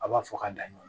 A b'a fɔ ka da ɲɔgɔn na